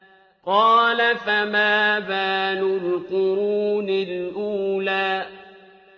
قَالَ فَمَا بَالُ الْقُرُونِ الْأُولَىٰ